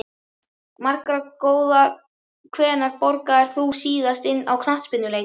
Margar góðar Hvenær borgaðir þú þig síðast inn á knattspyrnuleik?